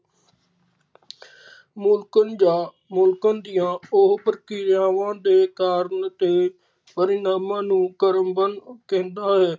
ਮੁਲਾਂਕਣ ਜਾ ਮੁਲਕਣ ਦੀਆ ਉਹ ਪ੍ਰਕਿਰਿਆਵਾ ਦੇ ਕਾਰਨ ਤੇ ਪਰਿਣਾਮ ਨੂੰ ਕ੍ਰਮਬੰਦ ਕਹਿੰਦਾ ਹੈ